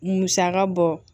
Musaka bɔ